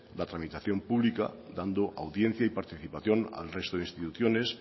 la tramitación pública dando audiencia y participación al resto de instituciones